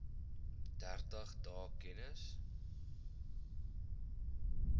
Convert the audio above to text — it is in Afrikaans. dertig dae kennis